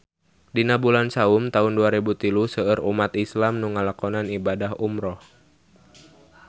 Dina bulan Saum taun dua rebu tilu seueur umat islam nu ngalakonan ibadah umrah